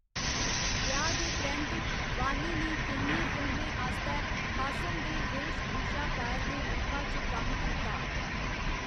ब्याह् दे परैंत्त, वाणी ने केइयें फिल्में आस्तै हासन दे वेशभूषाकार दे रूपा च कम्म कीता।